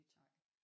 Nej